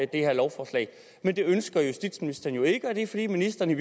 det her lovforslag men det ønsker justitsministeren jo ikke og det er fordi ministeren i